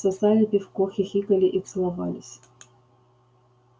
сосали пивко хихикали и целовались